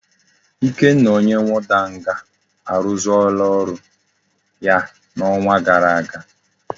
Ikenna onye warder nga aruzuola oru ya na onwa gara aga